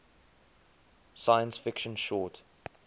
science fiction short